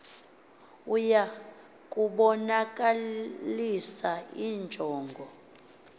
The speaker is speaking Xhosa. ya ukubonakalisa injongo